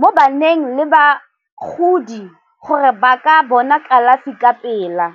mo baneng le bagodi gore ba ka bona kalafi ka pela.